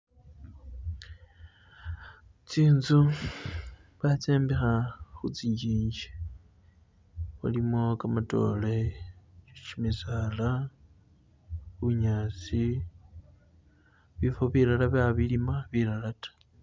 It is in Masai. Tsinzu batsombekha khitsi njinji mulimo gamatoore, gimisaala, bunyaasi, bifo bilala babilima bilala ta.